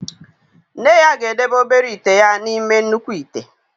Nne ya ga-edebe obere ite ya n'ime nnukwu ite.